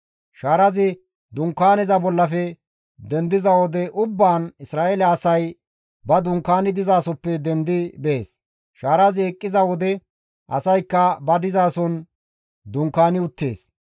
Shaarazi Dunkaaneza bollafe dendiza wode ubbaan Isra7eele asay ba dunkaani dizasoppe dendi bees; shaarazi eqqiza wode asaykka ba dizason dunkaani uttees.